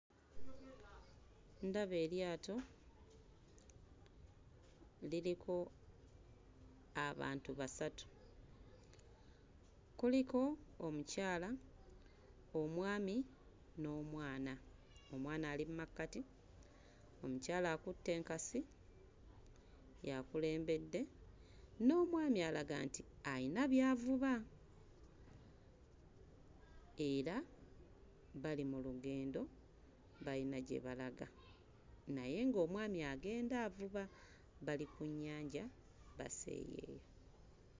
Ndaba eryato liriko abantu basatu, kuliko omukyala, omwami n'omwana. Omwana ali mmakkati omukyala akutte enkasi y'akulembedde n'omwami alaga nti ayina by'avuba era bali mu lugendo bayina gye balaga naye ng'omwani agenda avuba bali ku nnyanja baseeyeeya.